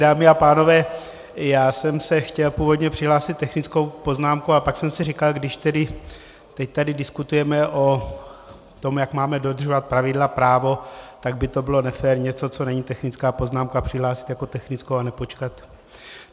Dámy a pánové, já jsem se chtěl původně přihlásit technickou poznámkou a pak jsem si říkal, když tedy teď tady diskutujeme o tom, jak máme dodržovat pravidla právo, tak by to bylo nefér něco, co není technická poznámka, přihlásit jako technickou a nepočkat.